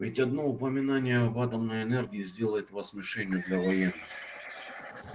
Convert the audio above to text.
ведь одно упоминание об атомной энергии сделает вас мишенью для военных